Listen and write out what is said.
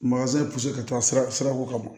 ka taa sira sira ko ka bon